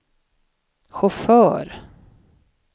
chaufför